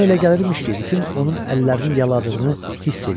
Ona elə gəlirmiş ki, itin onun əllərini yaladığını hiss eləyir.